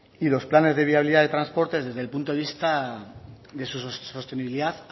y los planes de viabilidad de transporte desde el punto de vista de su sostenibilidad